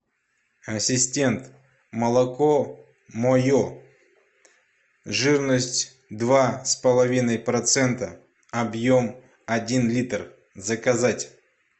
ассистент молоко мое жирность два с половиной процента объем один литр заказать